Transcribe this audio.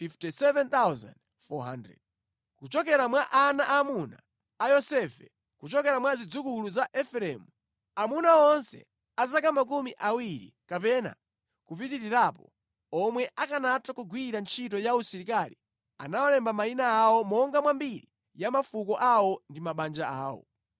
Kuchokera mwa ana aamuna a Yosefe: Kuchokera mwa zidzukulu za Efereimu: Amuna onse a zaka makumi awiri kapena kupitirirapo, omwe akanatha kugwira ntchito ya usilikali anawalemba mayina awo monga mwa mbiri ya mafuko awo ndi mabanja awo.